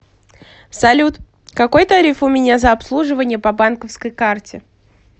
салют какой тариф у меня за обслуживание по банковской карте